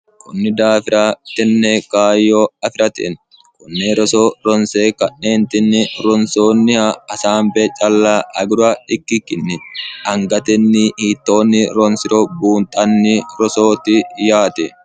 kunni daafira tenne kaayyo afirate konne roso ronse ka'neentinni ronsoonniha hasaambe calla agura ikkikkinni angatenni hiittoonni ronsoonniro buunxanni rosooti yaate